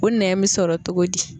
O nɛn bɛ sɔrɔ togo di.